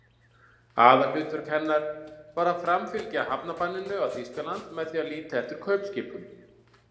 Aðalhlutverk hennar var að framfylgja hafnbanninu á Þýskaland með því að líta eftir kaupskipum.